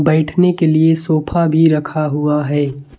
बैठने के लिए सोफा भी रखा हुआ है।